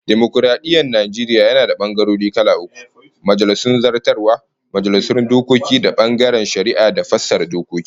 Dimokaradiyyar Najeriya yana da bangarorin gwamnati kala uku, Majalisun Zartaswa, Majalisun Dokoki da bangaren Shari'a da fassara dokoki